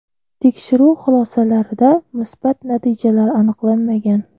Tekshiruv xulosalarida musbat natijalar aniqlanmagan.